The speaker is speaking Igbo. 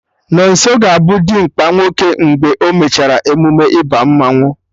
Nonso ga-abụ dimkpa nwoke mgbe e mechara emume ịba mmanụ